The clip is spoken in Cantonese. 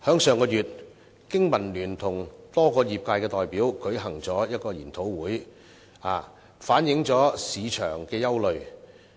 上月，香港經濟民生聯盟與多個業界代表舉行了研討會，反映市場憂慮。